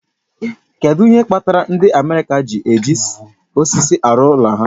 Kedu ihe kpatara ndị America ji eji osisi arụ ụlọ ha